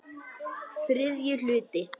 ÞRIðJI HLUTI